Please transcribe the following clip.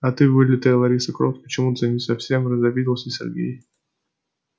а ты вылитая лариса крофт почему-то совсем разобиделся сергей